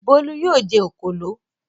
Bólú yóò jẹ òkòló.